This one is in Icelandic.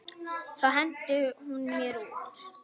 Þá henti hún mér út.